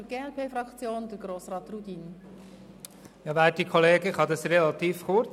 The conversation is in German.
– Das Wort hat Grossrat Rudin für die glp-Fraktion.